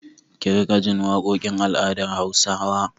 Ki riƙa jin waƙokin al'adar Hausawa!